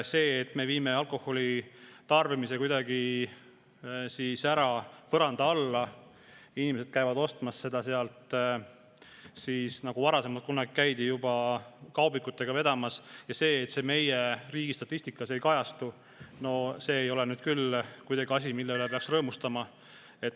See, et me viime alkoholi tarbimise kuidagi põranda alla, nii et inimesed käivad ostmas seda mujalt, nagu kunagi käidi juba kaubikutega vedamas, aga meie riigi statistikas see ei kajastu, ei ole nüüd küll asi, mille üle peaks rõõmustama.